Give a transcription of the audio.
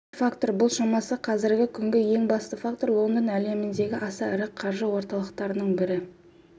үшінші фактор бұл шамасы қазіргі күнгі ең басты фактор лондон әлемдегі аса ірі қаржы орталықтарының бірі